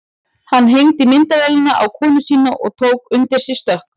Hann hengdi myndavélina á konu sína og tók undir sig stökk.